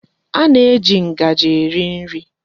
A na-eji ngaji eri nri.